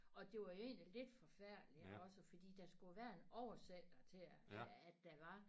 Og det var jo egentlig lidt forfærdeligt ikke også fordi der skulle jo være en oversætter til at at der var